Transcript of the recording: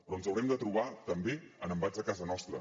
però ens haurem de trobar també amb embats a casa nostra